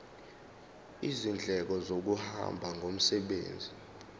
izindleko zokuhamba ngomsebenzi